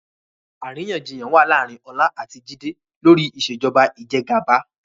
Àríyànjiyàn wá láàárín Ọlá àti Jide lórí Ìṣèjọba Ìjẹgàba